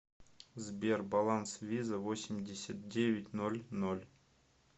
сбер баланс виза восемьдесят девять ноль ноль